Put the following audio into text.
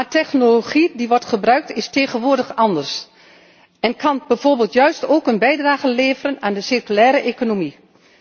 Maar de technologie die wordt gebruikt, is tegenwoordig anders en kan bijvoorbeeld juist ook een bijdrage leveren aan de circulaire economie.